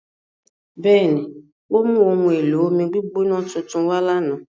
Bẹẹni, o mu ohun-elo-ọmi-gbigbọnà tuntun kan wà lána.